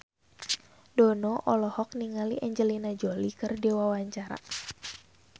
Dono olohok ningali Angelina Jolie keur diwawancara